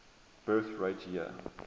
birth rate year